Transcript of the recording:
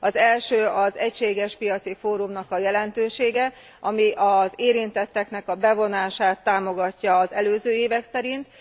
Az első az egységes piaci fórumnak a jelentősége, ami az érintetteknek a bevonását támogatja az előző évek szerint.